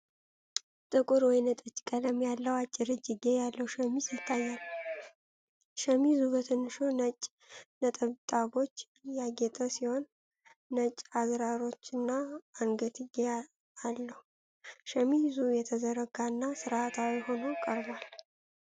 ጥቁር ወይን ጠጅ ቀለም ያለው፣ አጭር እጅጌ ያለው ሸሚዝ ይታያል። ሸሚዙ በትንንሽ ነጭ ነጠብጣቦች ያጌጠ ሲሆን፣ ነጭ አዝራሮች እና አንገትጌ አለው። ሸሚዙ የተዘረጋ እና ሥርዓታማ ሆኖ ቀርቧል።